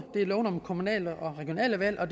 loven om kommunale og regionale valg og